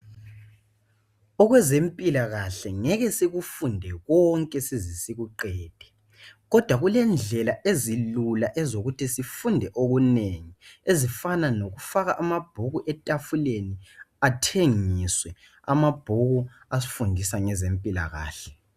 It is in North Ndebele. Okwezempilakahle ngeke sikufunde konke size sikuqede kodwa kulendlelaezilula ezokuthi sifunde okunengi ezifana lokufaka amabhuku etafuleni athengiswe amabhuku asifundisa ngezempilakahle.